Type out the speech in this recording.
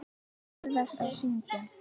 Ferðast og syngja.